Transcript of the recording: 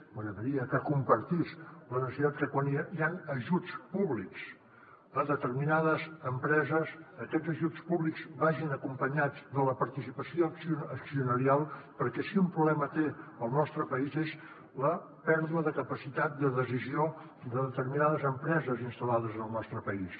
m’agradaria que compartís la necessitat que quan hi han ajuts públics a determinades empreses aquests ajuts públics vagin acompanyats de la participació accionarial perquè si un problema té el nostre país és la pèrdua de capacitat de decisió de determinades empreses installades en el nostre país